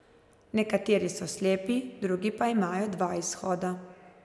Nekateri so slepi, drugi pa imajo dva izhoda.